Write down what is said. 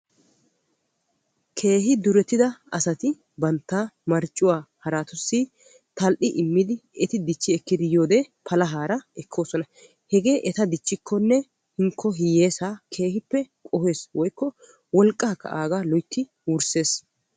keehi durettida asati bantta marccuwaa haraatussi tal'i immidi eti dichchi ekkidi yiyoode palahaara ekkoosona, hegee eta dichchikkonne hinkko hiyyeessa keehippe qohees woykko wolqqakka aaga loyittidi wursses.